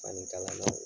Fani kala